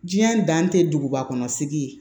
Diɲɛ dan tɛ duguba kɔnɔ sigi ye